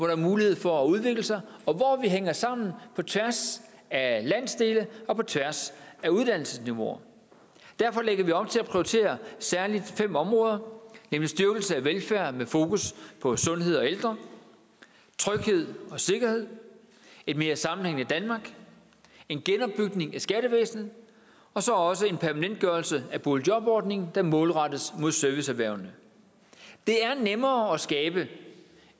er mulighed for at udvikle sig og hvor vi hænger sammen på tværs af landsdele og på tværs af uddannelsesniveauer derfor lægger vi op til at prioritere særlig fem områder nemlig styrkelse af velfærden med fokus på sundhed og ældre tryghed og sikkerhed et mere sammenhængende danmark en genopbygning af skattevæsenet og så også en permanentgørelse af boligjobordningen der målrettes mod serviceerhvervene det er nemmere at skabe